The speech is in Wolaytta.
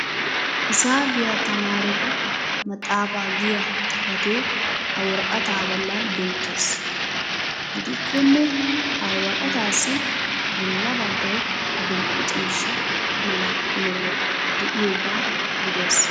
hisaabiya tamaaretu maxaafaa giya xifatee ha woraqataa bolan beetees. gidikkonne ha woraqataassi bolla bagay adile ciishsha mala meray diyoogaa gidees.